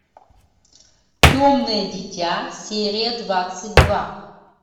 темное дитя серия двадцать два